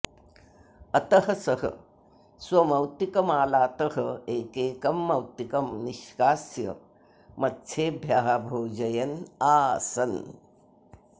अतः सः स्वमौक्तिकमालातः एकैकं मौक्तिकं निष्कास्य मत्सेभ्यः भोजयन् आसन्